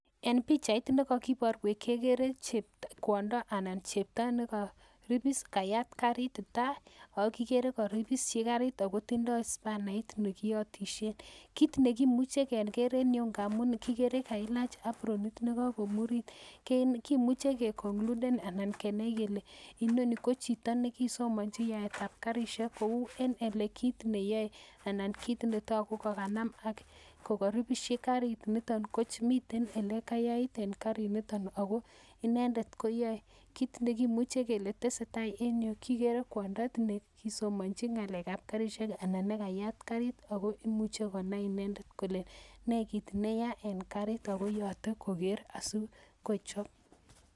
En pichait nekokiboruech kekere kwondo anan chepto nekoribis kayat karit tai o kikere koribishi karit akotindo spanait nekiyotishen ,kit nekimuche keker en yu ngamun kikere kailach apronit nekokomurit kemuche kekonkluden anan kenai kele inoni ko chito nekisomonji yaeyab karishek kou en kit neyoe anan kit netoku kokanam ak kokoribishi kariniton ko miten elekayai en kariniton ako inendet koyoe kit nekimuche kele tesetaa en yu kikere kwando nekisomonji ngalekab karishek anan ko nekayat karit ako imuche konai inendet kole nee kit neyaa en karit ak koyote koker asikochop.